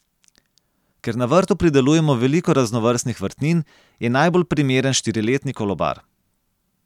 Ker na vrtu pridelujemo veliko raznovrstnih vrtnin, je najbolj primeren štiriletni kolobar.